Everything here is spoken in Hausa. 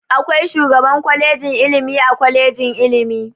Akwai shugaban kwalejin ilimi a kwalejin ilimi.